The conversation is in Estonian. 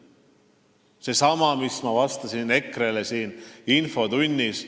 See on seesama, mida ma vastasin EKRE-le infotunnis.